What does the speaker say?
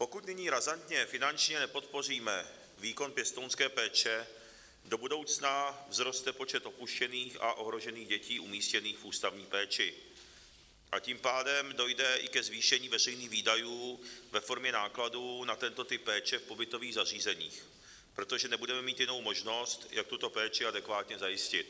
Pokud nyní razantně finančně nepodpoříme výkon pěstounské péče, do budoucna vzroste počet opuštěných a ohrožených dětí umístěných v ústavní péči, a tím pádem dojde i ke zvýšení veřejných výdajů ve formě nákladů na tento typ péče v pobytových zařízeních, protože nebudeme mít jinou možnost, jak tuto péči adekvátně zajistit.